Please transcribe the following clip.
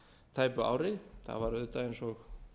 tæpu ári það var auðvitað eins og